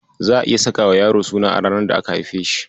Za'a iya sakawa yaro suna a ranar da aka haife shi.